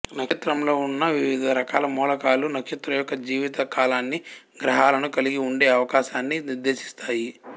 నక్షత్రంలో ఉన్న వివిధ రకాల మూలకాలు నక్షత్రం యొక్క జీవిత కాలాన్ని గ్రహాలను కలిగి ఉండే అవకాశాన్ని నిర్దేశిస్తాయి